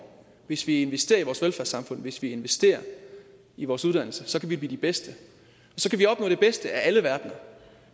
hvis vi investerer i vores velfærdssamfund hvis vi investerer i vores uddannelser så kan vi blive de bedste så kan vi opnå det bedste af alle verdener